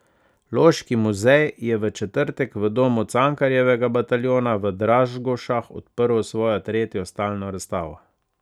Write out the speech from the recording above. Loški muzej je v četrtek v Domu Cankarjevega bataljona v Dražgošah odprl svojo tretjo stalno razstavo.